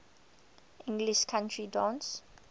english country dance